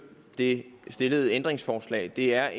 det stillede ændringsforslag det er